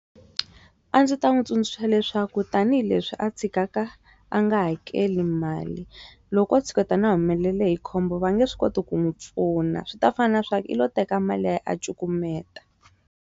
A ndzi ta n'wi tsundzuxa leswaku tanihileswi a tshikaka a nga hakeli mali loko o tshuketana a humelele hi khombo va nge swi koti ku n'wi pfuna swi ta fana na swa ku u lo teka mali ya yena a cukumeta.